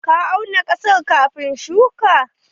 Ka auna ƙasar kafin shuka?